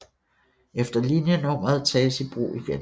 Eller linjenummeret tages i brug igen